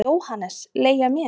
JÓHANNES: Leigja mér?